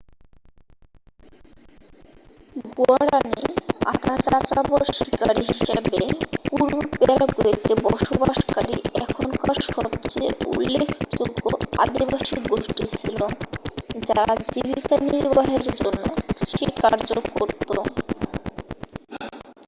guaraní আধা-যাযাবর শিকারি হিসাবে পূর্ব প্যারাগুয়েতে বসবাসকারী এখনকার সবচেয়ে উল্লেখযোগ্য আদিবাসী গোষ্ঠী ছিল যারা জীবিকা নির্বাহের জন্য কৃষিকার্যও করত।